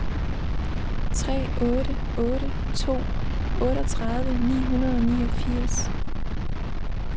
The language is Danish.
tre otte otte to otteogtredive ni hundrede og niogfirs